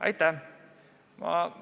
Aitäh!